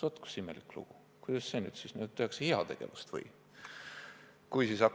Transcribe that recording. Vaat kus imelik lugu, kuidas siis nii, tehakse heategevust või?